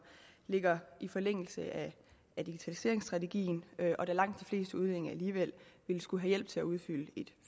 ligger i forlængelse af digitaliseringsstrategien og da langt de fleste udlændinge alligevel ville skulle have hjælp til at udfylde et